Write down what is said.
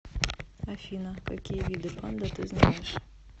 афина какие виды панда ты знаешь